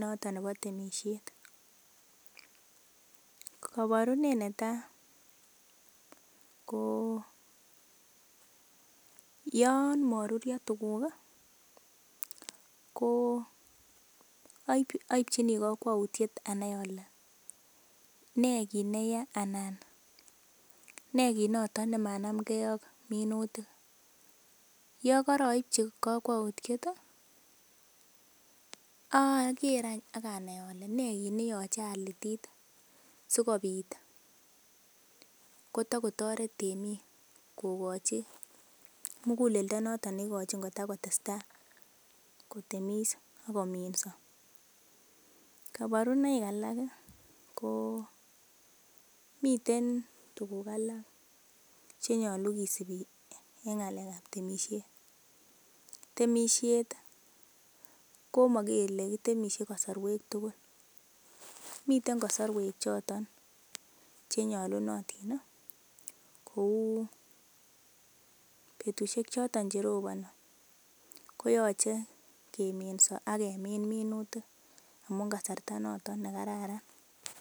noton nebo temisiet koborunet netaa ko yon moruryo tuguk ih ko oipchini kokwoutiet anai kole nee kit neya anan nee kit noton nemanamgee ak minutik yekoroipchi kokwoutiet ih oker any ak anai ole nee kit neoche alitit sikobit kotokotoret temiik kokochi muguleldo noton neigochin kotokotestaa kotemis ak kominso kaborunoik alak komiten tuguk alak chenyolu kisubi en ng'alek ab temisiet, temisiet ko mokele kitemisie kasorwek tugul miten kosorwek choton chenyolunotin kou betusiek choton cheroboni ko oche keminso ak kemin minutik amun kasarta noton nekararan